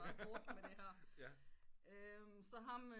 Meget hårdt med det her så ham